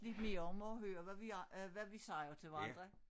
Lidt mere om at høre hvad vi øh hvad vi siger til hverandre